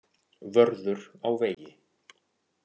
Vörður á vegi.